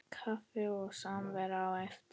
Kaffi og samvera á eftir.